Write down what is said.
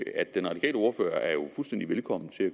at den radikale ordfører jo er fuldstændig velkommen til at